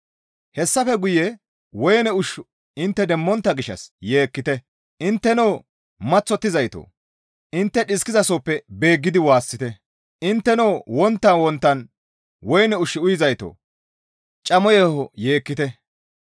Hessafe guye woyne ushshu intte demmontta gishshas yeekkite; intteno maththottizaytoo! Intte dhiskizasoppe beeggidi waassite; intteno wonttan wonttan woyne ushshu uyizaytoo! Camo yeeho yeekkite.